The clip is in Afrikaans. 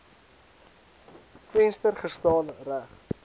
venster gestaan reg